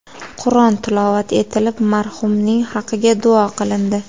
Qur’on tilovat etilib, marhumning haqiga duo qilindi.